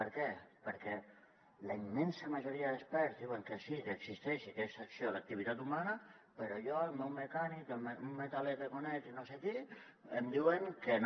per què perquè la immensa majoria d’experts diuen que sí que existeix i que és per l’acció de l’activitat humana però jo el meu mecànic un metaler que conec i no sé qui em diuen que no